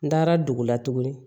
N taara dugu la tuguni